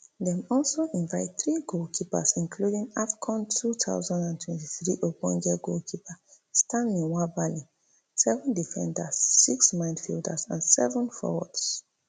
dem also invite three goalkeepers including afcon two thousand and twenty-three ogbonge goalkeeper stanley nwabali seven defenders six midfielders and seven forwards